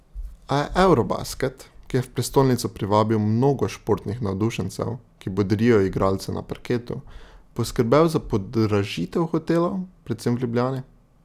A je eurobasket, ki je v prestolnico privabil mnogo športnih navdušencev, ki bodrijo igralce na parketu, poskrbel za podražitev hotelov, predvsem v Ljubljani.